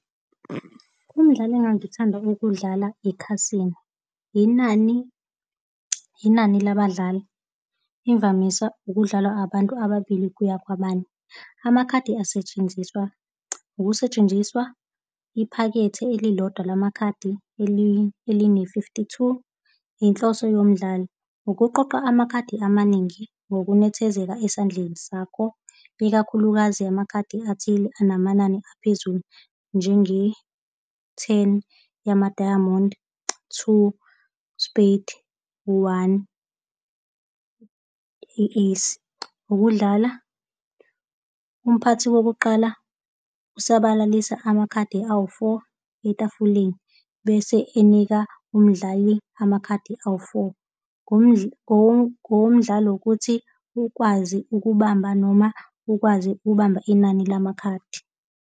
Umdlalo engangithanda ukudlala, ikhasino, inani, inani labadlali imvamisa ukudlalwa abantu ababili kuya kwabane. Amakhadi asetshenziswa ukusetshenziswa iphakethe elilodwa lamakhadi eline-fifty-two. Inhloso yomdlalo ukuqoqa amakhadi amaningi ngokunethezeka esandleni sakho, ikakhulukazi yamakhadi athile anamanani aphezulu, njenge-ten yama-diamond, two spade, u-one, i-ace. Ukudlala umphathi wokuqala usabalalisa amakhadi awu-four etafuleni bese enika umdlali amakhadi awu-four, ngokomdlalo ukuthi ukwazi ukubamba noma ukwazi ukubamba inani lamakhaladi.